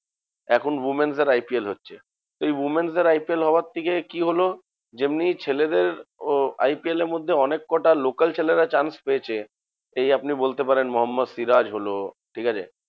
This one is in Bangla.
এখন women's দের IPL হচ্ছে। তো এই women's দের IPL হওয়ার থেকে, কি হলো? যেমনি ছেলেদের ও IPL এর মধ্যে অনেক কটা local ছেলেরা chance পেয়েছে। এই আপনি বলতে পারেন মোহাম্মদ সিরাজ হলো ঠিকাছে?